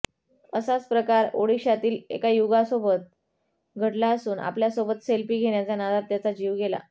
असाच प्रकार ओडिशातील एका युगासोबत घडला असून आपल्यासोबत सेल्फी घेण्याच्या नादात त्याचा जीव गेला